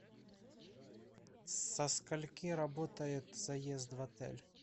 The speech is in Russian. со скольки работает заезд в отель